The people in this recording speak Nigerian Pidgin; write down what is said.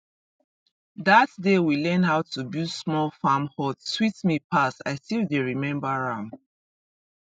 that day we learn how to build small farm hut sweet me pass i still dey remember am